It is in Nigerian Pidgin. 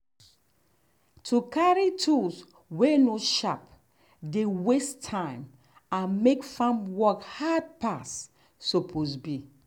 to carry tools way no sharp dey waste time and make farm work hard passe suppose be.